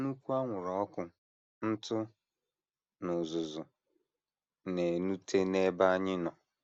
Nnukwu anwụrụ ọkụ, ntụ, na uzuzu na - enute n’ebe anyị nọ.